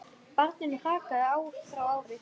Barninu hrakaði ár frá ári.